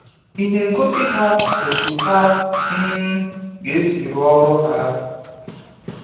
ịna egosi ha otu ha um ga esi rụọ ọrụ ha?